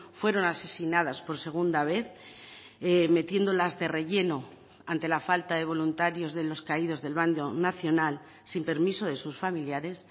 fueron asesinadas por segunda vez metiéndolas de relleno ante la falta de voluntarios de los caídos del bando nacional sin permiso de sus familiares